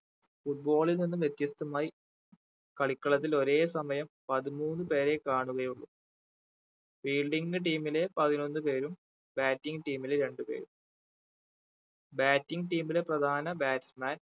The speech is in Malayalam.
foot ball ൽ നിന്നും വ്യത്യസ്തമായി കളിക്കളത്തിൽ ഒരേ സമയം പതിമൂന്ന് പേരെ കാണുകയുള്ളൂ fielding ന്റെ team ല് പതിനൊന്നു പേരും batting team ല് രണ്ടു പേരും batting team ലെ പ്രധാന batsman